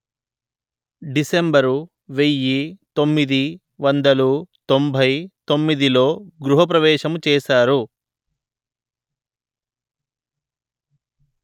December వెయ్యి తొమ్మిది వందలు తొంభై తొమ్మిది లో గృహప్రవేశం చేశారు